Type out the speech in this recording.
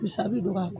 Misali don ka